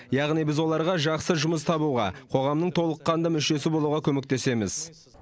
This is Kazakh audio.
яғни біз оларға жақсы жұмыс табуға қоғамның толыққанды мүшесі болуға көмектесеміз